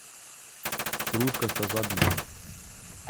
Hruškasta zadnjica.